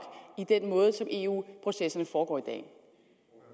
i den måde som eu processerne foregår dag